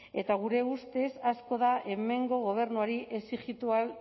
eta gure ustez asko da hemengo gobernuari exijitu ahal